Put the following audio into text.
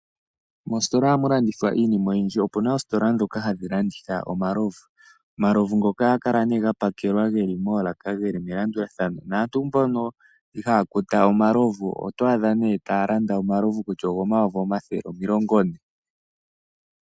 Moositola ohamu landithwa iinima oyindji. Ope na oositola ndhoka hadhi landitha omalovu, ohaga kula ga pakelwa ge li moolaka ge li melandulathano. Aantu mbono ihaya kuta omalovu otwaadha taya landitha omalovu kutya ogomayovi omilongo ne.